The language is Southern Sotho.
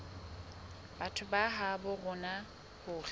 batho ba habo rona hore